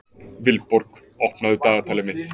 Vilborg, opnaðu dagatalið mitt.